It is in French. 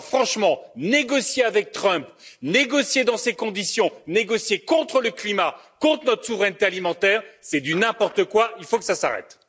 Alors, franchement, négocier avec Trump, négocier dans ces conditions, négocier contre le climat, contre notre souveraineté alimentaire, c'est du n'importe quoi, il faut que ça s'arrête!